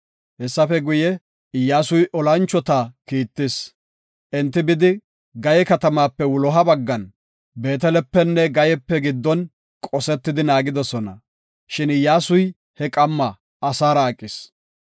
Hessafe guye, Iyyasuy olanchota kiittis. Enti bidi Gayee katamaape wuloha baggan Beetelepenne Gayeepe giddon qosetidi naagidosona. Shin Iyyasuy he qamma asaara aqis.